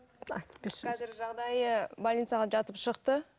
айтып берші қазіргі жағдайы больницаға жатып шықты